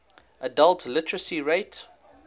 adult literacy rate